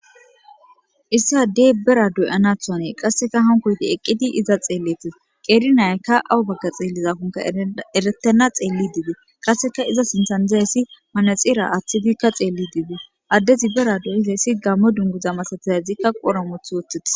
Issi adey bera doyanatho ha.es qasika hankoys eqidi izza xelidi dossona qeri nayikka awbaga xelizan eretena xeladidees qasika ezza sinthan manaxira wothidi xelidi dees.adazi bera doyi gamo dunguza masatizayssa qoren wothi utidees.